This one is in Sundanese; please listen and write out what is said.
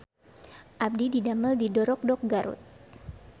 Abdi didamel di Dorokdok Garut